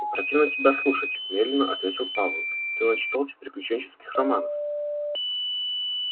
противно тебя слушать медленно ответил пауэлл ты начитался приключенческих романов